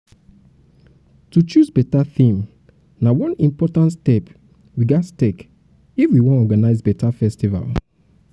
to choose beta theme na one important step we ghas take if we wan organize beta festival.